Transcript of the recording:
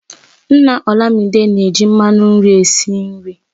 Nna olamide na èji mmanụ nri esi nri